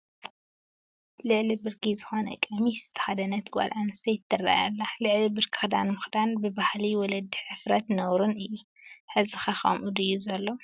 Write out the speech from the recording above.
ልዕሊ ብርኪ ዝኾነ ቀሚሽ ዝተኸደነት ጓል ኣነስተይቲ ትርአ ኣላ፡፡ ልዕሊ ብርኪ ክዳን ምኽዳን ብባህሊ ወለዲ ሕፍረት ነውርን እዩ፡፡ ሕዚ ኸ ከምኡ ድዩ ዘሎ?